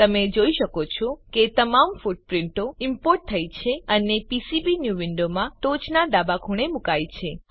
તમે જોઈ શકો છો કે તમામ ફૂટપ્રીંટો ઈમ્પોર્ટ થઇ છે અને પીસીબીન્યૂ વિન્ડોમાં ટોચનાં ડાબા ખૂણે મુકાઈ છે